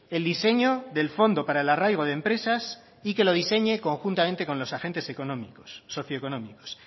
el diseño del fondo para el arraigo de empresas y que lo diseñe conjuntamente con los agentes socioeconómicos